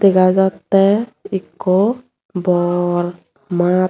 dega jatte ikko bor maat.